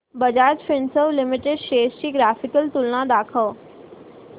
Bajaj Finserv limited shares ची graphical तुलना दाखव